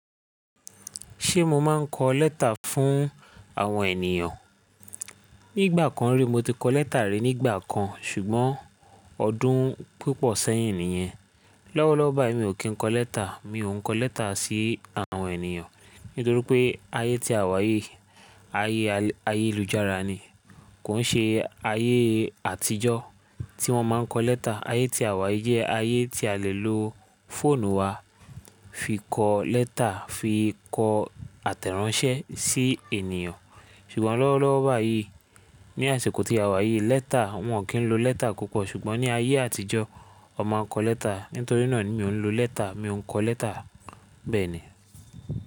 Ṣé mo máa ń kọ lẹ́tà fún àwọn ènìyàn? Ní ìgbà kan rí mo ti kọ lẹ́tà rí nígbà kan ṣùgbọ́n ọdún púpọ̀ sẹ́yìn nìyẹn. Lọ́wọ́lọ́wọ́ báyìí mi ò kí ń kọ lẹ́tà, mi ò ń kọ lẹ́tà sí àwọn ènìyàn nítorí pé ayé tí a wà yìí, ayé ayélujára ni, kò ń ṣe ayé àtijọ́ tí wọ́n máa ń kọ lẹ́tà. Ayé tí a wà yìí jẹ́ ayé tí a lè lo fóònù wa fi kọ lẹ́tà fi kọ àtẹ̀ránsẹ́ sí ènìyàn. Ṣùgbọ́n lọ́wọ́lọ́wọ́ báyìí ní àsèkó tí a wà yìí lẹ́tà wọ́n kì í lo lẹ́tà púpọ̀ ṣùgbọ́n ní ayé àtijọ́ ọ máa ń kọ lẹ́tà. Nítorí náà ni mi ò ń lo lẹ́tà, mi ò ń kọ lẹ́tà bẹ́ẹ̀ni.